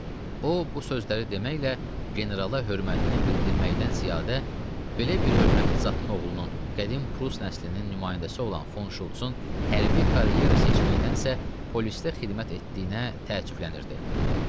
O bu sözləri deməklə generala hörmətini bildirməkdən ziyadə, belə bir hörmətli zatın oğlunun, qədim Pruss nəslinin nümayəndəsi olan Fon Şultsun hərbi karyera seçməkdənsə, polisdə xidmət etdiyinə təəccüblənirdi.